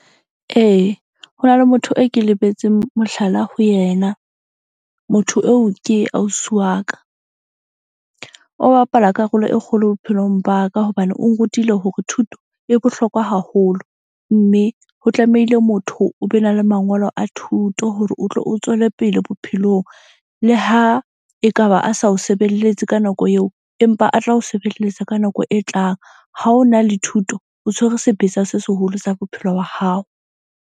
Ee, ho na le motho e ke lebetseng mohlala, ho yena. Motho eo ke ausi wa ka. O bapala karolo e kgolo bophelong ba ka hobane o nrutile hore thuto e bohlokwa haholo. Mme ho tlamehile motho o be na le mangolo a thuto hore o tlo o tswele pele bophelong. Le ha ekaba a sa o sebeletse ka nako eo, empa a tla o sebeletsa ka nako e tlang. Ha o na le thuto, o tshwere sebetsa se seholo sa bophelo ba hao.